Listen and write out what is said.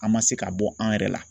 An ma se ka bɔ an yɛrɛ la